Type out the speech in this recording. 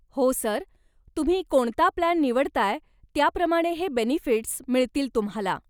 हो सर, तुम्ही कोणता प्लान निवडताय त्याप्रमाणे हे बेनिफिट्स् मिळतील तुम्हाला,